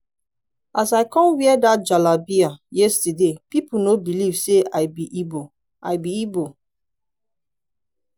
as i come wear that jalabiya yesterday people no believe say i be igbo i be igbo